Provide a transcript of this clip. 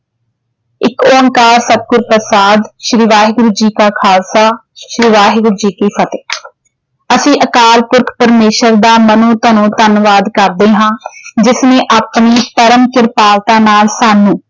ਏਕ ਓਂਕਾਰ ਸਤਿਗੁਰ ਪ੍ਰਸ਼ਾਦ ਸ਼੍ਰੀ ਵਾਹਿਗੁਰੂ ਜੀ ਕਾ ਖਾਲਸਾ ਸ਼੍ਰੀ ਵਾਹਿਗੁਰੂ ਜੀ ਕੀ ਫਤਿਹ। ਅਸੀ ਅਕਾਲ ਪੁਰਖ ਪਰਮੇਸ਼ਵਰ ਦਾ ਮਨੋ ਤਨੋ ਧੰਨਵਾਦ ਕਰਦੇ ਹਾਂ ਜਿਸ ਨੇ ਆਪਣੀ ਪਰਮ ਕ੍ਰਿਪਾਲਤਾ ਨਾਲ ਸਾਨੂੰ